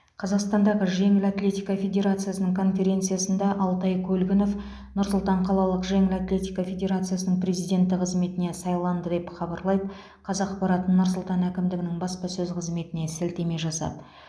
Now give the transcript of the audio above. қазақстандағы жеңіл атлетика федерациясының конференциясында алтай көлгінов нұр сұлтан қалалық жеңіл атлетика федерациясының президенті қызметіне сайланды деп хабарлайды қазақпарат нұр сұлтан әкімдігінің баспасөз қызметіне сілтеме жасап